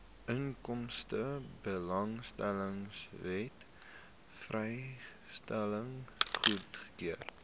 inkomstebelastingwet vrystelling goedgekeur